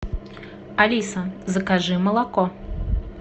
алиса закажи молоко